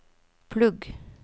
plugg